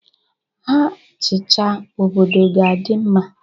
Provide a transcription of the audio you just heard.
Ha chịcha, obodo ga-adị mma.